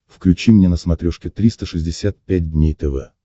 включи мне на смотрешке триста шестьдесят пять дней тв